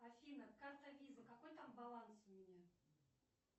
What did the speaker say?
афина карта виза какой там баланс у меня